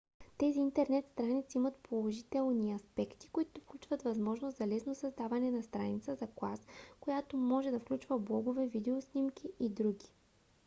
тези интернет страници имат положителни аспекти които включват възможност за лесно създаване на страница за клас която може да включва блогове видео снимки и други функции